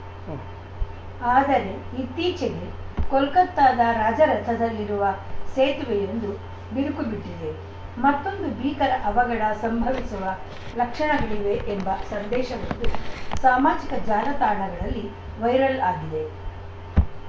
ಉಂ ಆದರೆ ಇತ್ತೀಚೆಗೆ ಕೊಲ್ಕತ್ತಾದ ರಾಜರಥದಲ್ಲಿರುವ ಸೇತುವೆಯೊಂದು ಬಿರುಕು ಬಿಟ್ಟಿದೆ ಮತ್ತೊಂದು ಭೀಕರ ಅವಘಡ ಸಂಭವಿಸುವ ಲಕ್ಷಣಗಳಿವೆ ಎಂಬ ಸಂದೇಶವೊಂದು ಸಾಮಾಜಿಕ ಜಾಲತಾಣಗಳಲ್ಲಿ ವೈರಲ್‌ ಆಗಿದೆ